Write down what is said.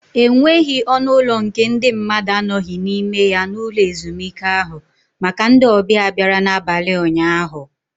E nweghị ọnụ ụlọ nke ndị mmadu anoghị n'ime ya n'ụlọ ezumike ahụ maka ndị ọbịa bịara n'abalị ụnyaahụ.